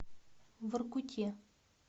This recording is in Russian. воркуте